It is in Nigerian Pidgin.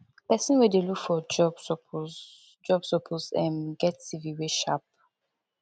pesin wey dey look for job suppose job suppose um get cv wey sharp